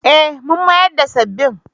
Eh mun miyar da sabbin.